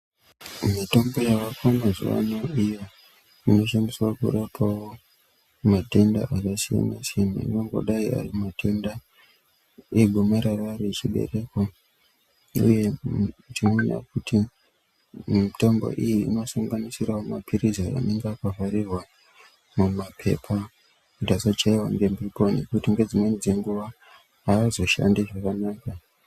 Mitombo yaako mazuwa ano iyo inoshandiswa kurapawo matenda akasiyansiyana anongodai ari matenda egomarara rechibereko uye tinoona kuti mitombo iyi inosanganisirawo mapilizi anonga akavharirwa mumapepa kuti asachaiwa ngemhepo ngekuti nedzimweni dzenguwa haazoshandi zvakanaka.